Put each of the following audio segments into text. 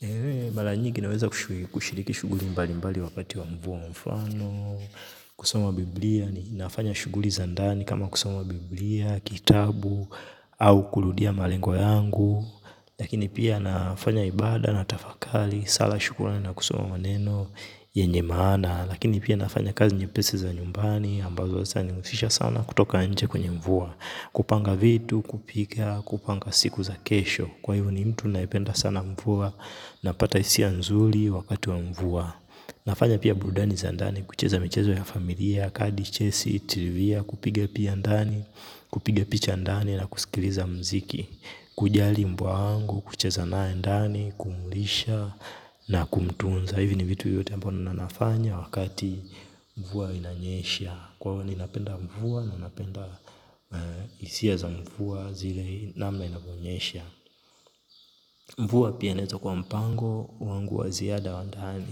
Hehe mara nyingi naweza kushiriki shughuli mbali mbali wakati wa mvua mfano. Kusoma biblia ni nafanya shughuli za ndani kama kusoma biblia, kitabu au kurudia malengwa yangu. Lakini pia nafanya ibada natafakari sala shukrani na kusoma neno yenye maana. Lakini pia nafanya kazi nyepesi za nyumbani ambazo hazita nihusisha sana kutoka nje kwenye mvua. Kupanga vitu, kupika, kupanga siku za kesho. Kwa hivo uni mtu naipenda sana mvua napata hisia nzuri wakati wa mvua nafanya pia burudani za ndani kucheza michezo ya familia kadi, chesi, trivia kupiga pia ndani kupiga picha ndani na kusikiliza mziki kujali mbwa wangu kucheza naye ndani, kumlisha na kumtunza hivi ni vitu vyote ambavyo na nafanya wakati mvua inanyesha kwa hiyo ninapenda mvua na napenda hisia za mvua zile namna inanyonyesha mvua pia inaweza kuwa mpango wangu wa ziada wa ndani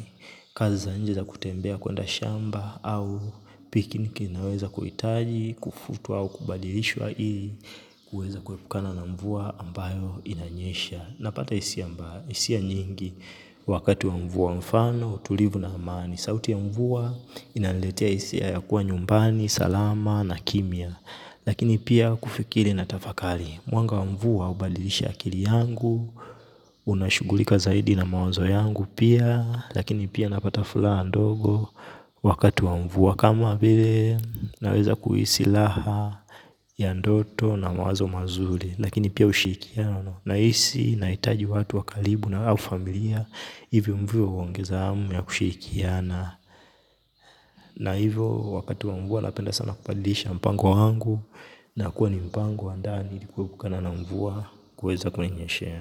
kazi za nje za kutembea kwenda shamba au picniki inaweza kuhitaji kufutwa au kubadilishwa ili kuweza kuepukana na mvua ambayo inanyesha napata hisia nyingi wakati wa mvua mfano utulivu na amani sauti ya mvua inaniletea hisia ya kuwa nyumbani, salama na kimya lakini pia kufikiri na tafakari mwanga wa mvua hubadilisha akili yangu. Unashugulika zaidi na mawazo yangu pia. Lakini pia napata furaha ndogo. Wakati wa mvua kama vile naweza kuhisi raha ya ndoto na mawazo mazuri. Lakini pia ushikiano nahisi nahitaji watu wakaribu nao au familia. Hivyo mvua huongeza hamu ya kushikiana na hivyo wakati wa mvua napenda sana kubadilisha mpango wangu. Nakuwa ni mpango wa ndani ili kuepukana na mvua kuweza kuninyeshea.